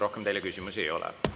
Rohkem teile küsimusi ei ole.